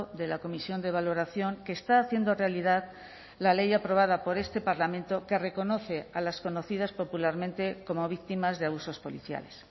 de la comisión de valoración que está haciendo realidad la ley aprobada por este parlamento que reconoce a las conocidas popularmente como víctimas de abusos policiales